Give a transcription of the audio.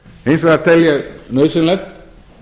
hins vegar tel ég nauðsynlegt